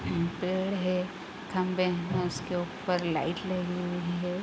उ पेड़ है खम्बे हैं उसके ऊपर लाइट लगी हुई है |